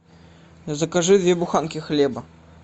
закажи две буханки хлеба